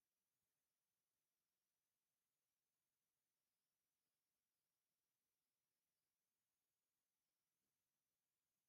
ዘመናውያንን ባህላውያንን ቅርጽታት ዘርኢ እዩ።